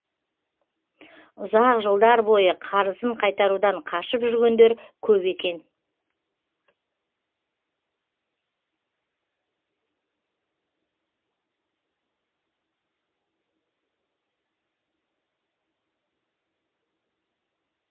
ұзақ жылдар бойы қарызын қайтарудан қашып жүргендер көп екен